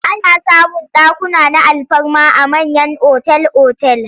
Ana samun dakuna na alfarma a mayan otal-otal.